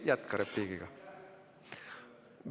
Jätka repliigiga.